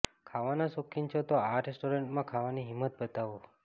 ખાવાના શોખીન છો તો આ રેસ્ટોરન્ટ્સમાં ખાવાની હિંમત બતાવો